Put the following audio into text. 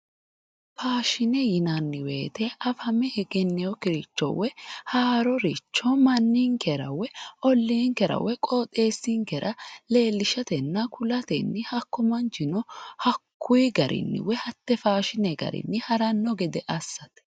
Faashine yinnanni woyte afame egeninokkiricho woyi haaroricho manninkera woyi ollinkera qooxxeesinkera leellishatenna ku'latenni hakku manchino hakkuyi garinni woyi hate faashine garini harano gede assate.